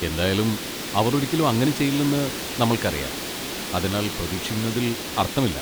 എന്തായാലും, അവർ ഒരിക്കലും അങ്ങനെ ചെയ്യില്ലെന്ന് നമ്മൾക്കറിയാം, അതിനാൽ പ്രതീക്ഷിക്കുന്നതിൽ അർത്ഥമില്ല.